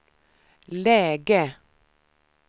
läge